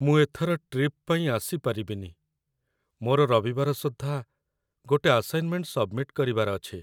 ମୁଁ ଏଥର ଟ୍ରିପ୍ ପାଇଁ ଆସିପାରିବିନି । ମୋର ରବିବାର ସୁଦ୍ଧା ଗୋଟେ ଆସାଇନ୍‌ମେଣ୍ଟ ସବ୍‌ମିଟ କରିବାର ଅଛି ।